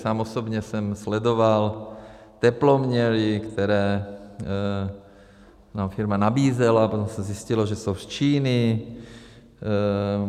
Sám osobně jsem sledoval teploměry, které nám firma nabízela, potom se zjistilo, že jsou z Číny.